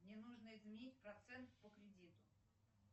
мне нужно изменить процент по кредиту